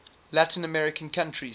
latin american countries